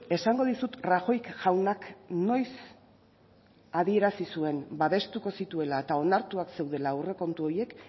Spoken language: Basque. esango dizut rajoy jaunak noiz adierazi zuen babestuko zituela eta onartuak zeudela aurrekontu horiek